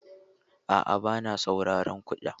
A'a, ba na sauraron kiɗa.